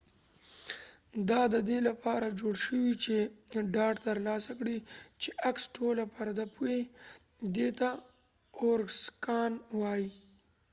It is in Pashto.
دا د دې لپاره جوړ شوي چې ډاډ ترلاسه کړي چې عکس ټوله پرده پوښي دې ته اوورسکان وایي